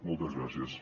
moltes gràcies